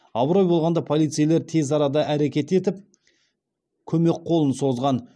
абырой болғанда полицейлер тез арада әрекет етіп көмек қолын созған